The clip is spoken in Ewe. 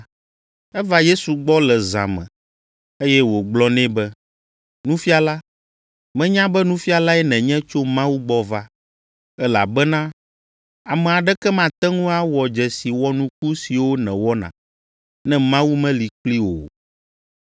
Eva Yesu gbɔ le zã me, eye wògblɔ nɛ be, Nufiala, menya be nufialae nènye tso Mawu gbɔ va. Elabena ame aɖeke mate ŋu awɔ dzesi wɔnuku siwo nèwɔna, ne Mawu meli kplii o.